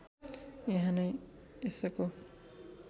यहाँ नै यसको